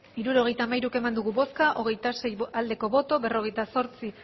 hirurogeita hamairu eman dugu bozka hogeita sei bai berrogeita zortzi